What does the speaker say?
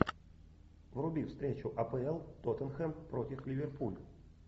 вруби встречу апл тоттенхэм против ливерпуль